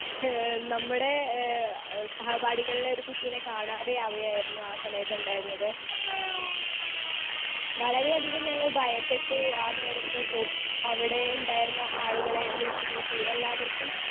speaker 2 ഏഹ് നമ്മുടെ എഹ് സഹപാഠികൾലെ ഒരു കുട്ടിനെ കാണാതെയാവയായിരുന്നു ആ സമയത്തുണ്ടായിരുന്നത്.വളരെ അധികം ഞങ്ങൾ ഭയപ്പെട്ടു ആ നേരത്ത് കോ അവിടെ ഇണ്ടായിരുന്ന ആളുകളെ വിളിച്ച് കൂട്ടി എല്ലാവർക്കും